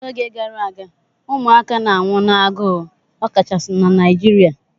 N'oge gara aga ụmụaka na-anwụ n'agụụ, ọkachasị na Naịjirịa